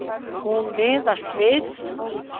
Hún miðast við.